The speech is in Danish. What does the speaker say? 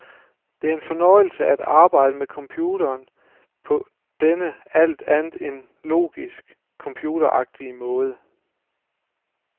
Det er en fornøjelse at arbejde med computeren på denne alt andet end logisk computeragtige måde.